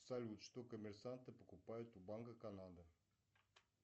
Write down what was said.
салют что коммерсанты покупают у банка канада